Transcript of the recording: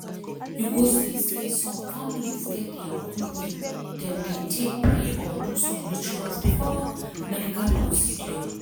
you go see say some families get dia own way dem dey take pray or do some rituals before medical procedure.